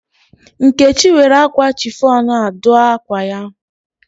Nkechi were akwa chiffon a dụ akwa ya.